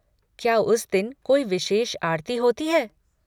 क्या उस दिन कोई विशेष आरती होती है?